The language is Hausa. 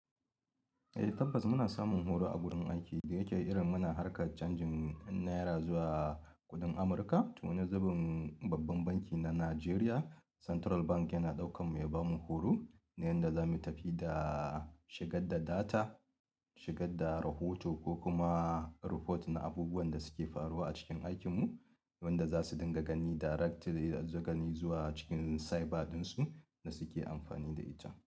E tabbas muna samun horo a gurin aiki da yake irin muna harkar canjin naira zuwa kuɗin amuruka to wani zubin babban banki na Najeriya Central Bank yana ɗaukan mu ya ba mu horo na yanda zamu tafi da shigadda data, shigadda rahoto ko kuma report na abubuwan da suke faruwa a cikin aikinmu, wanda za su dinga gani directly zagani zuwa cikin cyber ɗinsu da suke amfani da ita.